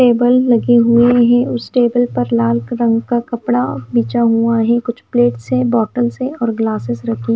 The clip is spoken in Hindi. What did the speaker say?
टेबल लगे हुए हैं उस टेबल पर लाल रंग का कपड़ा बिछा हुआ है कुछ प्लेट्स है बॉटल से और ग्लासेस रखे हैं।